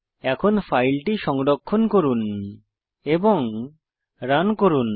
এখন ফাইলটি সংরক্ষণ করুন এবং রান করুন